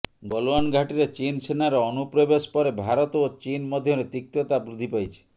ଗଲୱାନ ଘାଟିରେ ଚୀନସେନାର ଅନୁପ୍ରବେଶ ପରେ ଭାରତ ଓ ଚୀନ ମଧ୍ୟରେ ତିକ୍ତତା ବୃଦ୍ଧି ପାଇଛି